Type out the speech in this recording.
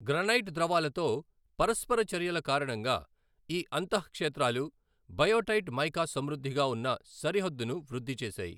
Granite ద్రవాలతో పరస్పర చర్యల కారణంగా, ఈ అంత: క్షేత్రాలు బయోటైట్ మైకా సమృద్ధిగా ఉన్న సరిహద్దును వృద్ధి చేశాయి.